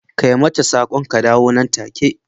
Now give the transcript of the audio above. kai mata sak'on ka dawo nan take.